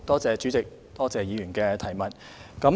主席，多謝議員的補充質詢。